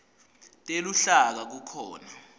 teluhlaka kukhona